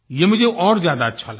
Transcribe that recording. ये मुझे और ज्यादा अच्छा लगा